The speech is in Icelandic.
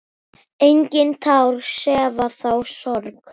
Engin tár sefa þá sorg.